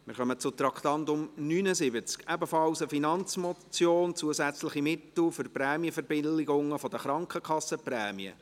Wir kommen zum Traktandum 79, ebenfalls eine Finanzmotion: «Zusätzliche Mittel für die Prämienverbilligungen der Krankenkassenprämien».